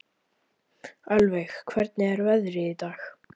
Ölveig, hvernig er veðrið í dag?